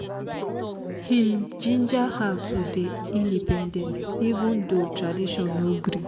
im ginger her to dey independent even though tradition no gree